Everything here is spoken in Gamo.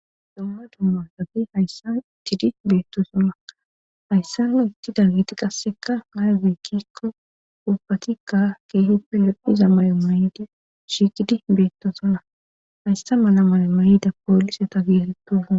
domma dumma gafi hayssa ittidi beetto sona hayssa na itti dargiti qasseka maage kikko ubatikka kee hippe loddhiza may7o mayde shiqidi beettosona hayssa mala mala mayida poolise ta girettoa